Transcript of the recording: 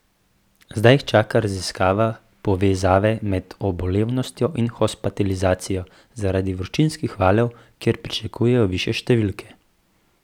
Zdaj jih čaka raziskava povezave med obolevnostjo in hospitalizacijo zaradi vročinskih valov, kjer pričakujejo višje številke.